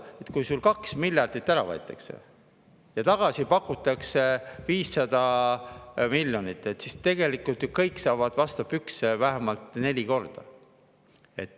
Kui sult 2 miljardit ära võetakse ja asemele pakutakse 500 miljonit, siis tegelikult saavad ju kõik vastu pükse vähemalt neli korda.